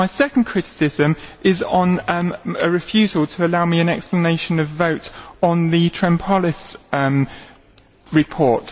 My second criticism is on a refusal to allow me an explanation of vote on the Tremopoulos report.